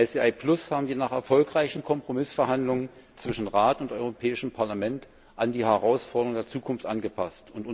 ICI Plus haben wir nach erfolgreichen Kompromissverhandlungen zwischen Rat und Europäischem Parlament an die Herausforderungen der Zukunft angepasst.